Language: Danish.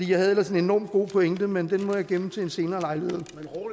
jeg havde ellers en enormt god pointe men den må jeg gemme til en senere lejlighed